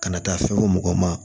Kana taa fɛn fɔ mɔgɔ ma